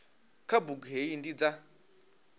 kha bugu hei ndi dza